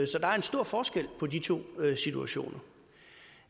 så der er en stor forskel på de to situationer